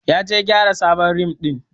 Ya je gyara sabon rim din.